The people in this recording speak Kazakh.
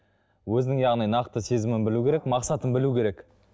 өзінің яғни нақты сезімін білу керек мақсатын білу керек